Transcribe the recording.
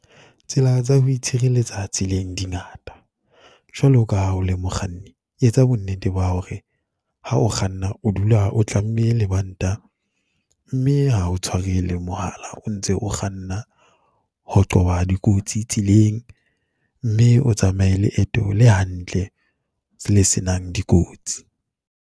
Tsela tsa ho itshireletsa tseleng di ngata. Jwalo ka ha o le mokganni, etsa bonnete ba hore ha o kganna, o dula o tlamme lebanta mme ha o tshware le mohala o ntse o kganna, ho qoba dikotsi tseleng. Mme o tsamaye leeto le hantle, le se nang dikotsi.